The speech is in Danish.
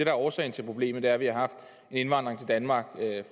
er årsagen til problemet er at vi har haft indvandring til danmark